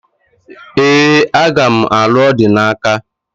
Ee, aga m alụ Odinaka